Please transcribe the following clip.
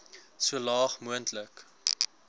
so laag moontlik